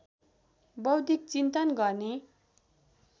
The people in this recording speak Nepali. बौद्धिक चिन्तन गर्ने